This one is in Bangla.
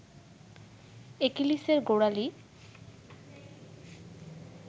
অ্যাকিলিসের গোড়ালি